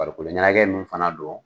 Farikoloɲɛnacɛ min fana dɔn